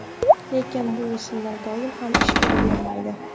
Lekin bu usullar doim ham ish beravermaydi.